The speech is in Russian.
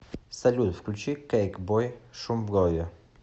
салют включи кейкбой шум в голове